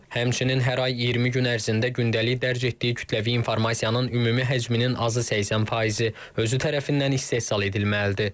Həmçinin hər ay 20 gün ərzində gündəlik dərc etdiyi kütləvi informasiyanın ümumi həcminin azı 80 faizi özü tərəfindən istehsal edilməlidir.